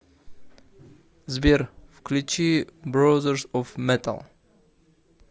сбер включи брозерс оф метал